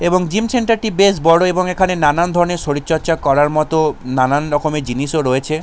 এবং gym centre টি বেশ বড় এবং এখানে নানান ধরনের শরীরচর্চা করা মত নানান রকমের জিনিস রয়েছে।